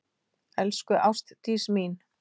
Elsku Ástdís mín.